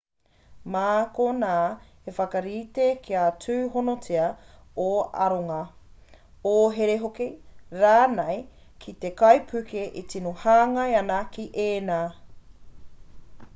mā konā e whakarite kia tūhonotia ō aronga ō here hoki/rānei ki te kaipuke e tino hāngai ana ki ēnā